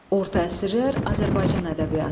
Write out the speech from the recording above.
Orta əsrlər Azərbaycan ədəbiyyatı.